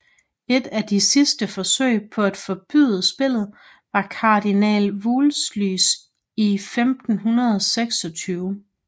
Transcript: Et af de sidste forsøg på at forbyde spillet var kardinal Wolseys i 1526